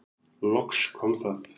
Loks kom það.